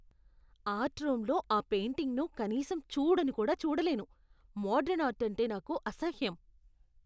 Art రూమ్లో ఆ పెయింటింగ్ను కనీసం చూడను కూడా చూడలేను, మోడరన్ ఆర్ట్ అంటే నాకు అసహ్యం.